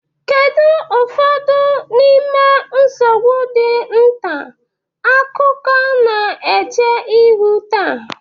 Kedu ụfọdụ n'ime nsogbu ndị nta akụkọ na-eche ihu taa?